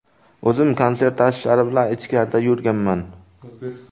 O‘zim konsert tashvishlari bilan ichkarida yurganman.